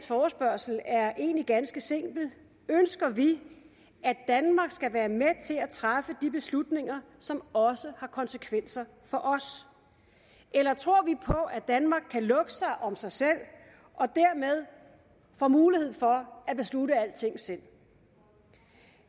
forespørgsel er egentlig ganske simpel ønsker vi at danmark skal være med til at træffe de beslutninger som også har konsekvenser for os eller tror vi at danmark kan lukke sig om sig selv og dermed få mulighed for at beslutte alting selv